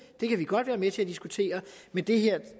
det kan vi godt være med til at diskutere men det her